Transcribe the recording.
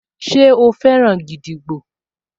Ṣe o fẹ́ràn gídígbò?